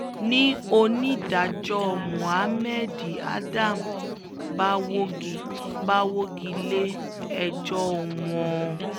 ni onídàájọ́ muhammad adam bá wọ́gi bá wọ́gi lé ẹjọ́ wọn